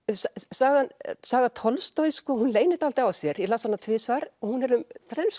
saga saga Tolstojs hún leynir dálítið á sér ég las hana tvisvar og hún er um þrenns